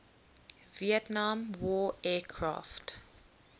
vietnam war aircraft